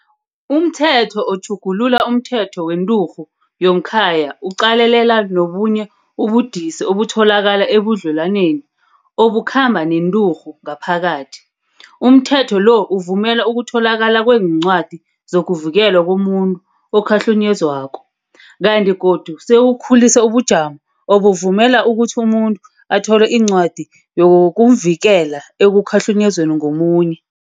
UmThetho oTjhugulula umThetho weNturhu yomKhaya uqalelela nobunye ubudisi obutholakala ebudlelwaneni obukhamba nenturhu ngaphakathi. UmThetho lo uvumela ukutholakala kweencwadi zokuvikelwa komuntu okhahlunyezwako, kanti godu sewukhulise ubujamo obuvumela ukuthi umuntu athole incwadi yokumvikela ekukhahlunyezweni ngomunye.